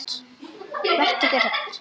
Vertu ekki hrædd.